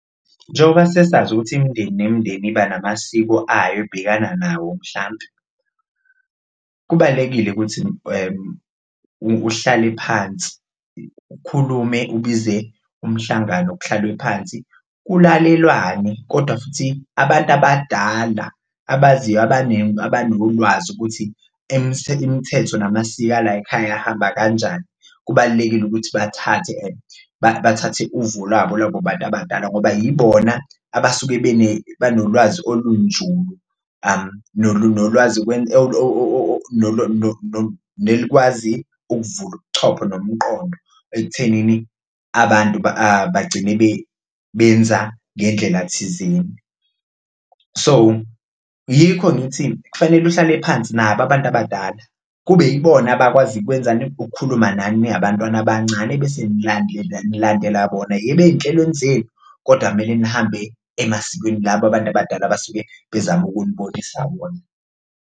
Njengoba sesazi ukuthi imindeni nemindeni iba namasiko ayo ebhekana nawo mhlampe kubalulekile ukuthi uhlale phansi ukhulume ubize umhlangano kuhlalwe phansi kulalelwane kodwa futhi abantu abadala abaziyo abanolwazi ukuthi imthetho namasiko alayikhaya ahamba kanjani. Kubalulekile ukuthi bathathe babathathe uvo lwabo labo bantu abadala ngoba yibona abasuke banolwazi olunjulu nelikwazi ukuvula ubuchopho nomqondo ekuthenini abantu bagcine benza ngendlela thizeni. So, yikho ngithi kufanele uhlale phansi nabo abantu abadala kube ibona abakwaziyo, ukwenzani? Ukukhuluma nani ningabantwana abancane bese nilandela bona, yebo ey'nhlelweni zenu kodwa kumele nihambe emasikweni laba abantu abadala abasuke bezama ukunibonisa wona.